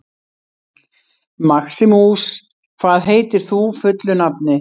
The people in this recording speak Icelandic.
Maximus, hvað heitir þú fullu nafni?